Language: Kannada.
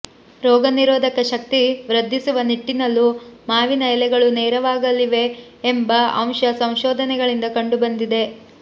ರೋಗ ನಿರೋಧಕ ಶಕ್ತಿ ವೃದ್ಧಿಸುವ ನಿಟ್ಟಿನಲ್ಲೂ ಮಾವಿನ ಎಲೆಗಳು ನೆರವಾಗಲಿವೆ ಎಂಬ ಅಂಶ ಸಂಶೋಧನೆಗಳಿಂದ ಕಂಡುಬಂದಿದೆ